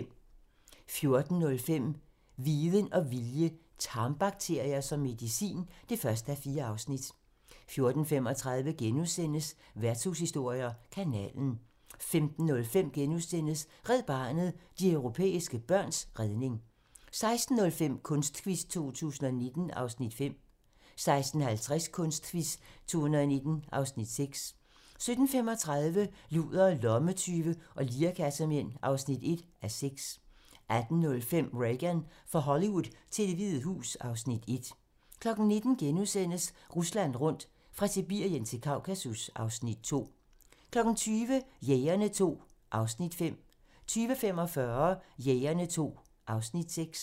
14:05: Viden og vilje - tarmbakterier som medicin (1:4) 14:35: Værtshushistorier: Kanalen * 15:05: Red Barnet - de europæiske børns redning * 16:05: Kunstquiz 2019 (Afs. 5) 16:50: Kunstquiz 2019 (Afs. 6) 17:35: Ludere, lommetyve og lirekassemænd (1:6) 18:05: Reagan - fra Hollywood til Det Hvide Hus (Afs. 1) 19:00: Rusland rundt - fra Sibirien til Kaukasus (Afs. 2)* 20:00: Jægerne II (Afs. 5) 20:45: Jægerne II (Afs. 6)